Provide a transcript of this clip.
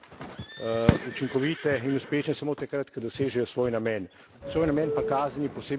Dejstvo je, da so kazni lahko učinkovite in uspešne samo takrat, ko dosežejo svoj namen.